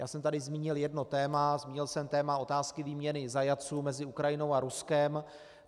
Já jsem tady zmínil jedno téma, zmínil jsem téma otázky výměny zajatců mezi Ukrajinou a Ruskem.